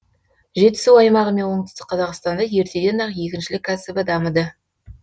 жетісу аймағы мен оңтүстік қазақстанда ертеден ақ егіншілік кәсібі дамыды